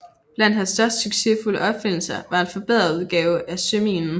Blandt hans succesfulde opfindelser var en forbedret udgave af søminen